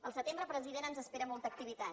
al setembre president ens espera molta activitat